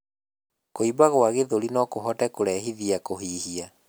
Kuimba gwa gĩthũri nokuhote kũrehithia kuhihia